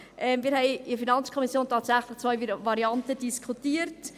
Wir haben in der FiKo tatsächlich zwei Varianten diskutiert.